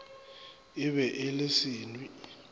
e be e le senwi